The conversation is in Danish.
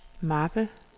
mappe